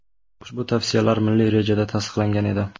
Ushbu tavsiyalar milliy rejada tasdiqlangan edi.